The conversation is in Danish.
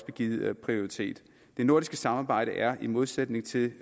givet prioritet det nordiske samarbejde er i modsætning til